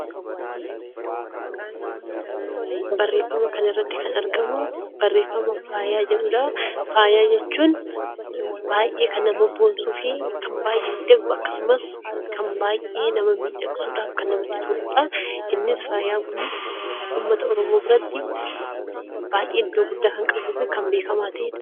Faaya jechuun baay'ee kan nama boonsuu fi akkasumas baay'ee nama miidhagsuudhaaf kan namatti toludha. Faayaan Kunis uummata oromoo biratti baay'ee iddoo guddaa kan qabuu fi beekamaa kan ta'edha.